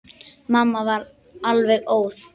Mamma varð alveg óð.